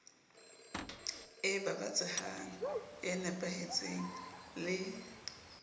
e babatsehang e nepahetseng le